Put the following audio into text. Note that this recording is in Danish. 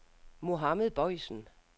Mohammad Boysen